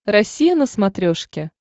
россия на смотрешке